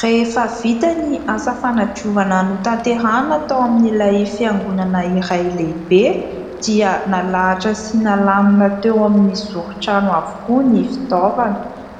Rehefa vita ny asa fanadiovana notanterahina tao amin'ilay fiangonana iray lehibe, dia nalahatra sy nalamina teo amin'ny zoron-trano avokoa ny fitaovana.